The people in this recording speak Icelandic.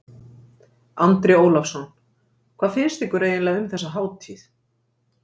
Andri Ólafsson: Hvað finnst ykkur eiginlega um þessa hátíð?